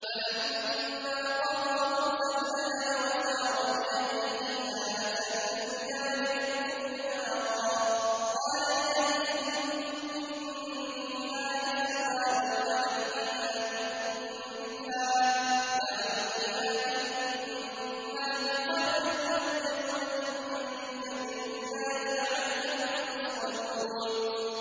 ۞ فَلَمَّا قَضَىٰ مُوسَى الْأَجَلَ وَسَارَ بِأَهْلِهِ آنَسَ مِن جَانِبِ الطُّورِ نَارًا قَالَ لِأَهْلِهِ امْكُثُوا إِنِّي آنَسْتُ نَارًا لَّعَلِّي آتِيكُم مِّنْهَا بِخَبَرٍ أَوْ جَذْوَةٍ مِّنَ النَّارِ لَعَلَّكُمْ تَصْطَلُونَ